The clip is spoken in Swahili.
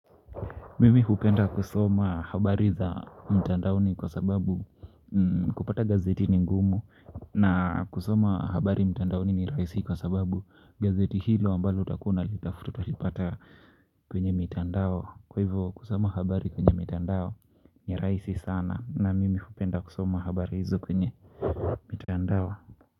Mimi hupenda kusoma habari za mtandaoni kwa sababu kupata gazeti ni ngumu na kusoma habari mtandaoni ni rahisi kwa sababu gazeti hilo ambalo utakuwa unalitafuta utalipata kwenye mitandao. Kwa hivyo kusoma habari kwenye mitandao ni rahisi sana na mimi hupenda kusoma habari hizo kwenye mitandao.